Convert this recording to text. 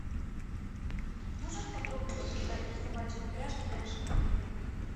можешь подробно рассказать про собачьи упряжки в нашем отеле